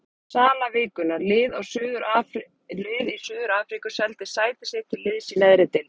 Sala vikunnar: Lið í Suður-Afríku seldi sæti sitt til liðs í neðri deild.